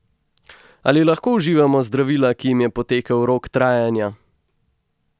Ali lahko uživamo zdravila, ki jim je potekel rok trajanja?